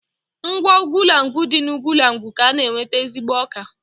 Nkwọ Ugwulangwu dị n'Ugwulangwu ka a na-enweta ezigbo ọka